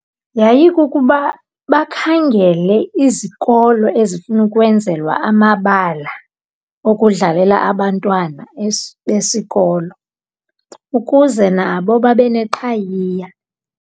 Yayikukuba bakhangele izikolo ezifuna ukwenzelwa amabala okudlalela abantwana besikolo ukuze nabo babe neqhayiya.